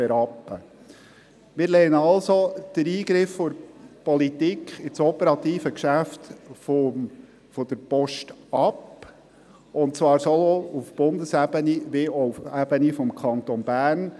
Wir lehnen also den Eingriff der Politik ins operative Geschäft der Post ab, und zwar sowohl auf Bundesebene als auch auf Ebene des Kantons Bern.